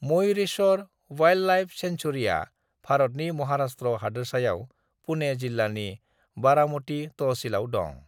Mayureshwar wildlife सैंक्चूएरीया भारतनि महाराष्ट्र हादोरसायाव पुने जिल्लानि बारामती तहसीलआव दं।